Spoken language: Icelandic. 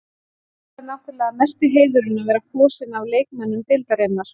Svo er náttúrulega mesti heiðurinn að vera kosinn af leikmönnum deildarinnar.